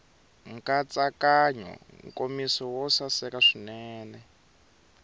nkatsakanyo nkomiso wo saseka swinene